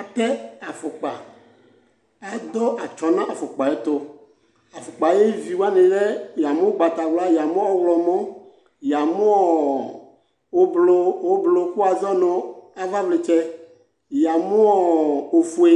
atɛ afɔkpa adʋ atsɔ nu afɔkpaɛtɔ afukpa ayuvi wani lɛ yamʋ ugbatawla yamʋ ɔylɔmɔ yamʋɔ ʋblʋ kʋwazɔnʋ avavlɛtsɛ yamʋɔ ofue